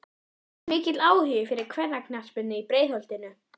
Er mikill áhugi fyrir kvennaknattspyrnu í Breiðholtinu?